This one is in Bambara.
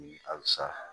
Halisa